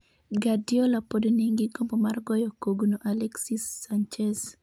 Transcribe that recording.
Guardiola pod nigi gombo mar goyo kogno Alexis Sanchez